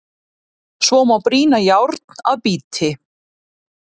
Svo má brýna járn að bíti.